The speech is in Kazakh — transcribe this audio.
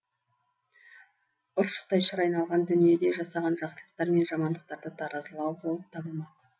ұршықтай шыр айналған дүниеде жасаған жақсылықтар мен жамандықтарды таразылау болып табылмақ